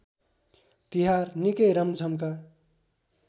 तिहार निकै रमझमका